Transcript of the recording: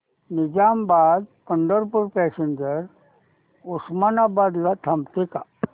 Nizamabad Pandharpur passenger Osmanabad ला थांबते का